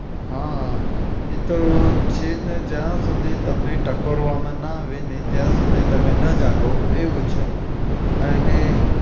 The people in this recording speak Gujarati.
હા. એતો છે જ ને જ્યાં સુધી તમને ટકોરવામાં ના આવે ને ત્યાં સુધી તમે ના જાગો એવું છે. એને